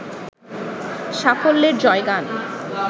সাফল্যের জয়গান